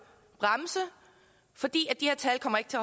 bremse for de her tal kommer ikke til